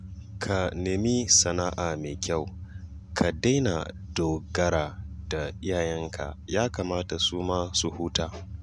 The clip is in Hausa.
Ka nemi sana'a mai kyau ka daina dogara da iyayenka ya kamata su ma su huta